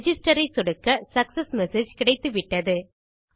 Registerஐ சொடுக்க success message கிடைத்துவிட்டது